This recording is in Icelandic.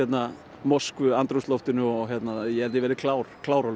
Moskvu andrúmsloftinu og ég held ég verði klár klár á